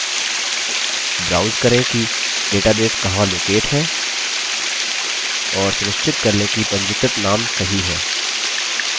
browse करें कि database कहाँ located है और सुनिश्चित कर लें कि पंजीकृत name सही है